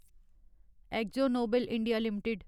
exo Nobel India limited